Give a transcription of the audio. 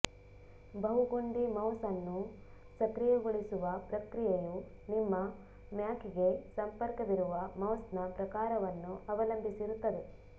ಬಹು ಗುಂಡಿ ಮೌಸ್ ಅನ್ನು ಸಕ್ರಿಯಗೊಳಿಸುವ ಪ್ರಕ್ರಿಯೆಯು ನಿಮ್ಮ ಮ್ಯಾಕ್ಗೆ ಸಂಪರ್ಕವಿರುವ ಮೌಸ್ನ ಪ್ರಕಾರವನ್ನು ಅವಲಂಬಿಸಿರುತ್ತದೆ